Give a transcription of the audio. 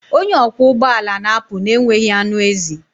Onye ọkwọ ụgbọ ala na-apụ na-enweghị anụ ezi.